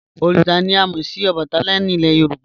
Oríṣà ni à mo sì Òbàtálá ni ilẹ̀ Yorùbá."